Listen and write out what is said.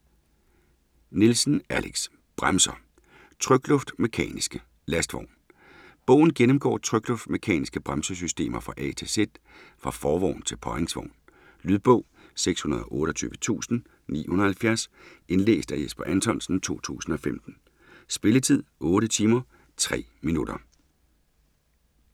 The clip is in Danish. Nielsen, Alex: Bremser - trykluft-mekaniske. Lastvogn Bogen gennemgår trykluft-mekaniske bremsesystemer fra A til Z – fra forvogn til påhængsvogn. Lydbog 628970 Indlæst af Jesper Anthonsen, 2015. Spilletid: 8 timer, 3 minutter.